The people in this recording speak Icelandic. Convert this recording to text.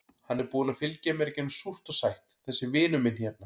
Hann er búinn að fylgja mér í gegnum súrt og sætt, þessi vinur minn hérna.